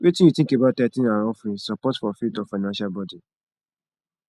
wetin you think about tithing and offerings support for faith or financial burden